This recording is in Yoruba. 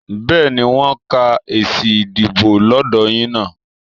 Bẹ́ẹ̀ni, wọ́n ń ka èsì ìdìbò lọ́dọ̀ yín náà